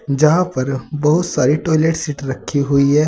जहां पर बहुत सारी टॉयलेट सीट रखी हुई है।